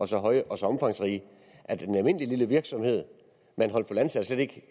så høje og så omfangsrige at en almindelig lille virksomhed med en håndfuld ansatte slet ikke